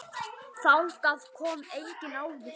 Þangað kom enginn áður.